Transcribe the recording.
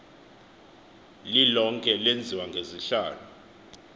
lilonke lenziwa ngezihlalo